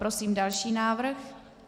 Prosím další návrh.